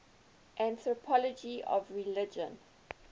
anthropology of religion